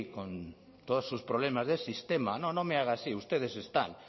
con todos sus problemas del sistema no no me haga así ustedes están